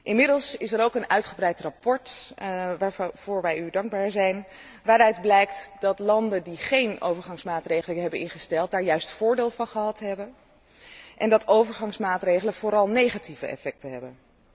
Inmiddels is er ook een uitgebreid verslag waarvoor wij u dankbaar zijn waaruit blijkt dat landen die geen overgangsmaatregelen hebben ingesteld, daar juist voordeel van gehad hebben, en dat overgangsmaatregelen vooral negatieve effecten hebben.